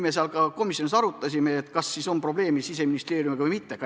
Me komisjonis arutasime, kas võiks olla probleemi Siseministeeriumiga või mitte.